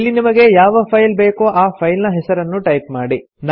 ಇಲ್ಲಿ ನಿಮಗೆ ಯಾವ ಫೈಲ್ ಬೇಕೋ ಆ ಫೈಲ್ ನ ಹೆಸರನ್ನು ಟೈಪ್ ಮಾಡಿ